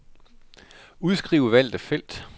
Udskriv valgte felt.